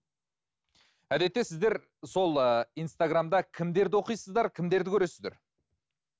әдетте сіздер сол ыыы инстаграмда кімдерді оқисыздар кімдерді көресіздер